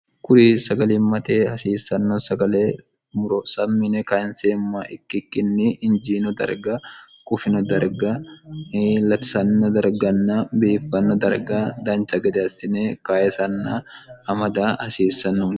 kuri sagalimmate hasiissanno sagale muro sammi yine kayinseemmha ikkikkinni injiino darga qufino darga latisanno darganna biiffanno darga dancha gede assine kaysanna amada hasiissanno